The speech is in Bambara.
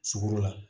Sugoro la